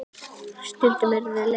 Stundum eru þau leið.